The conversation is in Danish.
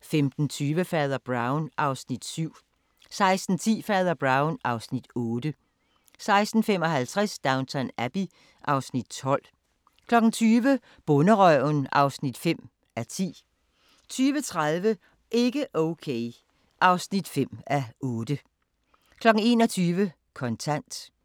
15:20: Fader Brown (Afs. 7) 16:10: Fader Brown (Afs. 8) 16:55: Downton Abbey (Afs. 12) 20:00: Bonderøven (5:10) 20:30: Ikke okay (5:8) 21:00: Kontant